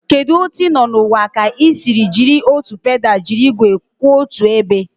Kedu otu ị nọ n'ụwa ka ị siri jiri otu pedal jiri igwe kwụ otu ebe?